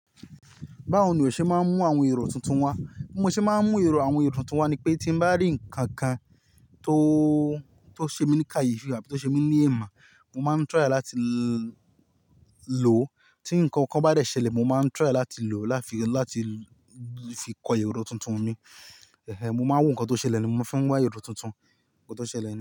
Báwo ni o ṣe máa ń mú àwọn èrò tuntun wá? Bí mo ṣe máa ń mú èrò, àwọn èrò tuntun wá ni pé tí mo bá rí nǹkan kan tó, tó ṣe mí ní kàyí fún, abi tó ṣe mí ní ẹ̀mà, mo máa ń try láti lò ó. Tí nǹkan kan bá dẹ ṣẹ̀lẹ̀, mo máa ń try láti lò ó láti, láti fi kọ èrò tuntun mi. Ehen, mo máa ń wò nǹkan tó ṣẹlẹ̀ ni mo fi wá èrò tuntun. Nǹkan tó ṣẹlẹ̀ ni.